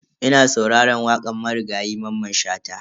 Ina sauraran wakan Marigayi Mamman Shata.